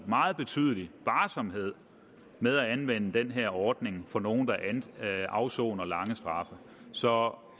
meget betydelig varsomhed med at anvende den her ordning på nogen der afsoner lange straffe så